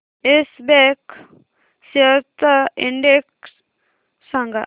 yes Bank shares चा index सांगा